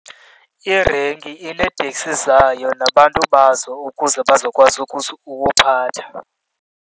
Irenki ineeteksi zayo nabantu bazo ukuze bazokwazi ukuphatha.